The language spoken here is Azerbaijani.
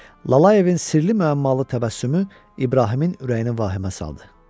Lalayevin sirli-məmmalı təbəssümü İbrahimin ürəyinə vahimə saldı.